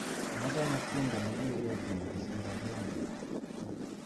Nachame tiendo nikiketin kosir akenge